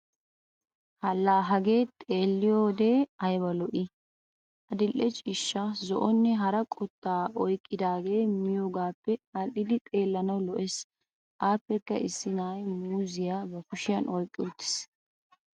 La Hagee xeelliyodenne ayba lo'ii. Adil'e ciishsha, zo'onee hara qottaa oyqqidaagee miyoogaappe adhdhidi xeellanawunne lo'es aappekka issi na'iya muuzziya ba kushiyan oyqqa uttaasu.